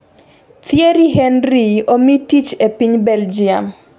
Thierry Henry omi tich e piny Belgium